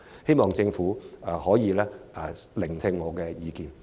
希望政府能聆聽我的意見。